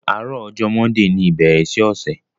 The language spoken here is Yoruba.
Aárọ̀ ọ̀jọ̀ mọ́ndíì ní ìbèérè sí ọṣẹ̀